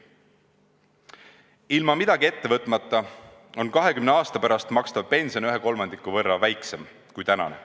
Ilma midagi ette võtmata on 20 aasta pärast makstav pension kolmandiku võrra väiksem kui tänane.